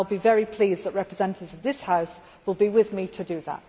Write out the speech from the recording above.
I will be very pleased that representatives of this House will be with me to do that.